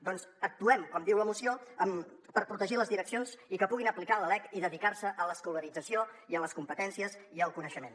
doncs actuem com diu la moció per protegir les direccions i que puguin aplicar la lec i dedicar se a l’escolarització i a les competències i al coneixement